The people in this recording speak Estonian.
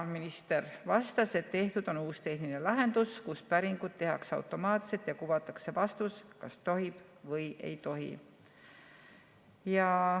Minister vastas, et tehtud on uus tehniline lahendus, kus päringuid tehakse automaatselt ja kuvatakse vastus, kas tohib või ei tohi.